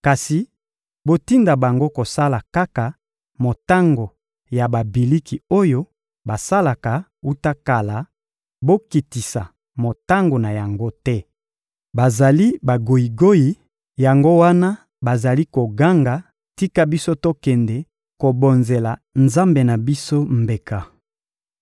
Kasi botinda bango kosala kaka motango ya babiliki oyo basalaka wuta kala, bokitisa motango na yango te. Bazali bagoyigoyi, yango wana bazali koganga: «Tika biso tokende kobonzela Nzambe na biso mbeka!»